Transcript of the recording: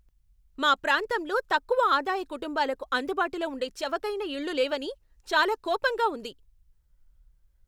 మా ప్రాంతంలో తక్కువ ఆదాయ కుటుంబాలకు అందుబాటులో ఉండే చవకైన ఇళ్ళు లేవని చాలా కోపంగా ఉంది.